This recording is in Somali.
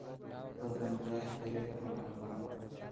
fadlan qeex ereyga munaafaqnimo